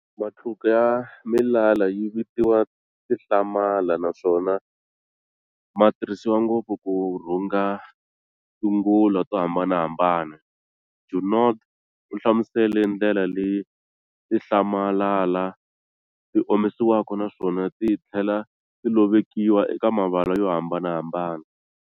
Matluka ya milala yi vitiwa Tinhlamalala, naswona ma tirhisiwa ngopfu ku rhunga tingula to hambanahambana. Junod uhlamusele ndlela leyi tinhlamalala ti omisiwaka naswona tithlela ti lovekiwa eka mivala yo hambanahambana.